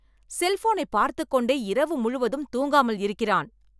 செல்போனை பார்த்துக்கொண்டே இரவு முழுவதும் தூங்காமல் இருக்கிறான்.